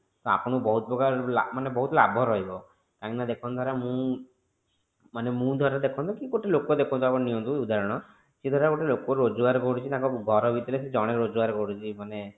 ଆପଣଙ୍କୁ ବହୁତ ପ୍ରକାର ମାନେ ବହୁତ ଲାଭ ରହିବ କାହିଁକି ନା ଦେଖନ୍ତୁ ଧର ମୁଁ ମାନେ ମୋ ଧର ଦେଖନ୍ତୁ କି ଗୋଟେ ଦେଖନ୍ତୁ ଆପଣ ନିଅନ୍ତୁ ଉଦାହରଣ କି ଗୋଟେ ଲୋକ ରୋଜଗାର କରୁଛି ତାଙ୍କ ଘର ଭିତରେ ଜଣେ ରୋଜଗାର କରୁଛି ମାନେ